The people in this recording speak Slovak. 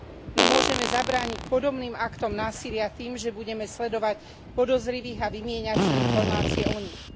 No môžeme zabrániť podobným aktom násilia tým, že budeme sledovať podozrivých a vymieňať si informácie o nich.